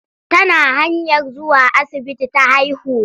Tana hanyar zuwa asibiti ta haihu.